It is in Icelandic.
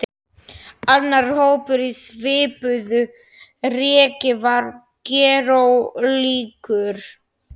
Annar hópur á svipuðu reki var gerólíkur.